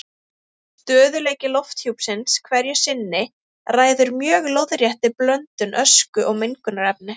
Stöðugleiki lofthjúpsins hverju sinni ræður mjög lóðréttri blöndun ösku og mengunarefna.